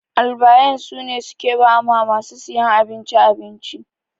Albayan sune suke ba masu siyan abinci abinci.